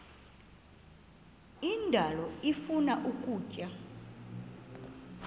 indalo ifuna ukutya